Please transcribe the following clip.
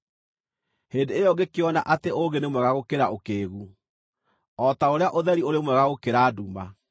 Hĩndĩ ĩyo ngĩkĩona atĩ ũũgĩ nĩ mwega gũkĩra ũkĩĩgu, o ta ũrĩa ũtheri ũrĩ mwega gũkĩra nduma.